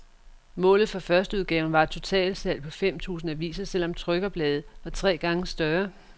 Målet for førsteudgaven var et totalsalg på fem tusind aviser, selv om trykoplaget var tre gange større.